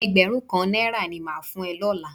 Ẹgbẹrun kan náírà ní mà á fún ẹ lọ́la